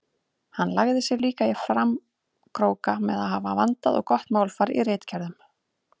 Hann lagði sig líka í framkróka með að hafa vandað og gott málfar í ritgerðunum.